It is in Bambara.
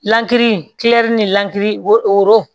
Lankiri ni lansiri wo